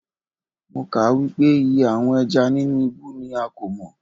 Mo kà á wípé iye àwọn ẹja nínú ibú ni a kò mọ̀.